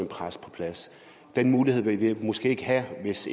præst på plads den mulighed ville man måske ikke have hvis